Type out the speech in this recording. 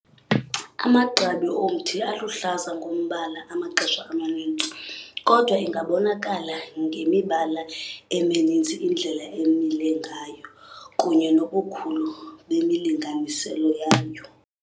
Amagqabi omthi aluhlaza ngombala amaxesha amaninzi, kodwa ingabonakala ngemibala emininzi, indlela emile ngayo, kunye nobukhulu bemilinganiselo yayo.